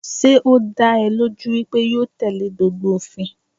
Sé ó dá ẹ lójú wípé yóò tẹ̀lé gbogbo òfin?